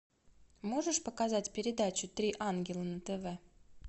можешь показать передачу три ангела на тв